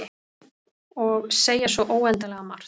Og segja svo óendanlega margt.